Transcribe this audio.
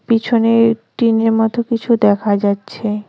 পিছনে টিনের মতো কিছু দেখা যাচ্ছে।